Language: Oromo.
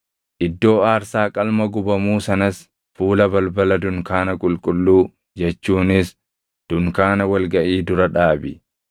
“Iddoo aarsaa qalma gubamuu sanas fuula balbala dunkaana qulqulluu jechuunis dunkaana wal gaʼii dura dhaabi;